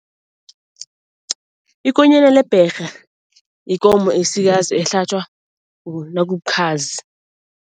Ikonyana lebherha ikomo esikazi ehlatjwa nakubukhazi.